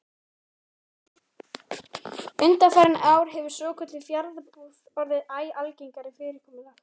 Undanfarin ár hefur svokölluð fjarbúð orðið æ algengara fyrirkomulag.